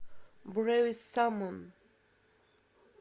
бревис саммон